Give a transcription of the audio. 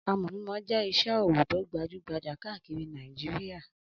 Amọ̀ mímọ jẹ́ iṣẹ́-ọwọ́ tó gbajú-gbajà káàkiri Nàìjíríà.